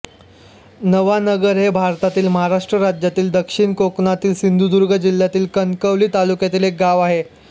नवानगर हे भारतातील महाराष्ट्र राज्यातील दक्षिण कोकणातील सिंधुदुर्ग जिल्ह्यातील कणकवली तालुक्यातील एक गाव आहे